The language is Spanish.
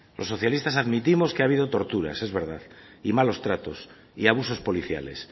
los socialistas admitimos que ha habido torturas es verdad y malos tratos y abusos policiales